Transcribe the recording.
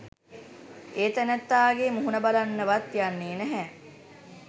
ඒ තැනැත්තාගේ මුහුණ බලන්නවත් යන්නෙ නැහැ.